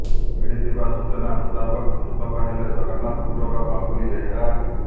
ମିଳିଥିବା ସୂଚନା ମୁତାବକ ମୃତକ ହେଲେ ଜଗନ୍ନାଥପୁରର ବାବୁଲି ବେହେରା